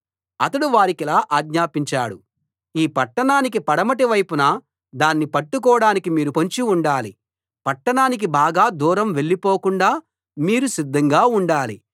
అతడు వారికిలా ఆజ్ఞాపించాడు ఈ పట్టణానికి పడమటి వైపున దాన్ని పట్టుకోడానికి మీరు పొంచి ఉండాలి పట్టణానికి బాగా దూరం వెళ్ళిపోకుండా మీరు సిద్ధంగా ఉండాలి